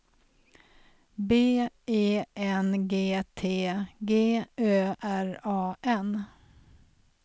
B E N G T G Ö R A N